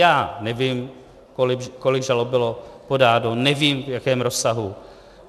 Já nevím, kolik žalob bylo podáno, nevím, v jakém rozsahu.